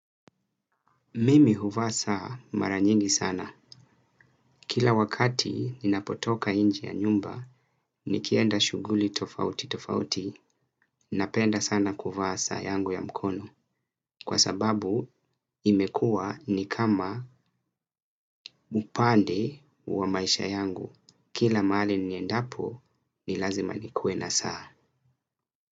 Mimi huvaa saa mara nyingi sana. Kila wakati ninapotoka nje ya nyumba, nikienda shughuli tofauti tofauti, napenda sana kuvaa saa yangu ya mkono. Kwa sababu imekua ni kama upande wa maisha yangu. Kila mahali niendapo, ni lazima nikue na saa.